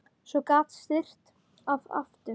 Svo gat syrt að aftur.